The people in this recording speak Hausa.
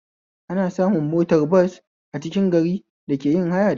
Ana samun motar bas a cikin gari da ake yin haya da ita